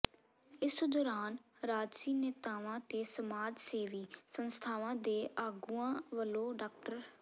ਇਸ ਦੌਰਾਨ ਰਾਜਸੀ ਨੇਤਾਵਾਂ ਤੇ ਸਮਾਜ ਸੇਵੀ ਸੰਸਥਾਵਾਂ ਦੇ ਆਗੂਆਂ ਵੱਲੋਂ ਡਾ